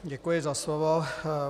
Děkuji za slovo.